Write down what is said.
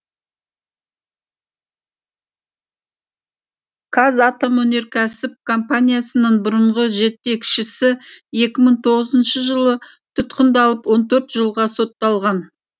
қазатомөнеркәсіп компаниясының бұрынғы жетекшісі екі мың тоғызыншы жылы тұтқындалып он төрт жылға сотталған